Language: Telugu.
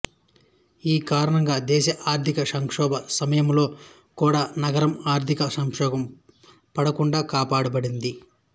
ఈ కారణంగా దేశఆర్ధిక సంక్షోభ సమయంలో కూడా నగరం ఆర్థిక సంక్షోభంలో పడకుండా కాఒపాడబడింది